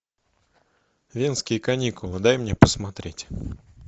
венские каникулы дай мне посмотреть